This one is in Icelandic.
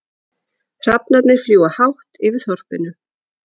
Hrafnarnir fljúga hátt yfir þorpinu.